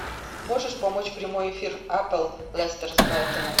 можешь помочь прямой эфир апл лестер с брайтоном